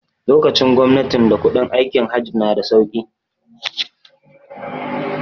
Lokacin gwamnatin da kuɗin aikin Hajj na da sauki